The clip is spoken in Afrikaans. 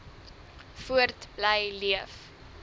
voort bly leef